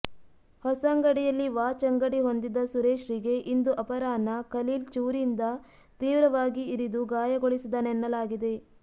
ಹೊಸಂಗಡಿಯಲ್ಲಿ watch ಅಂಗಡಿ ಹೊಂದಿದ್ದ ಸುರೇಶ್ರಿಗೆ ಇಂದು ಅಪರಾಹ್ನ ಖಲೀಲ್ ಚೂರಿಯಿಂದ ತೀವ್ರವಾಗಿ ಇರಿದು ಗಾಯಗೊಳಿಸಿದನೆನ್ನಲಾಗಿದೆ